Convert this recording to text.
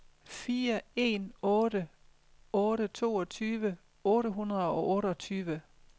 fire en otte otte toogtyve otte hundrede og otteogtyve